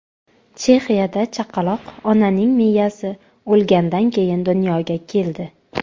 Chexiyada chaqaloq onaning miyasi o‘lgandan keyin dunyoga keldi.